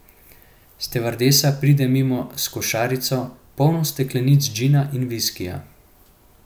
Stevardesa pride mimo s košarico, polno steklenic gina in viskija.